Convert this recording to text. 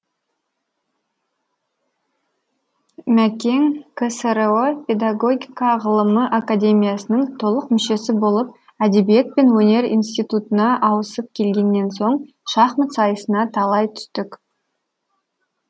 мәкең ксро педагогика ғылымы академиясының толық мүшесі болып әдебиет пен өнер институтына ауысып келгеннен соң шахмат сайысына талай түстік